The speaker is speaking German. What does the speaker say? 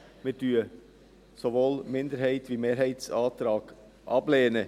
Wir lehnen sowohl den Minderheits- als auch den Mehrheitsantrag ab.